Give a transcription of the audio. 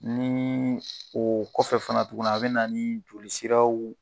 Nii oo kɔfɛ fana tuguni a bɛ na ni joli siraw